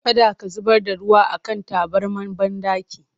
Kada ka zubar da ruwa a kan tabarmar banɗaki!